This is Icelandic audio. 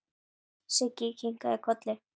Siggi kinkaði kolli.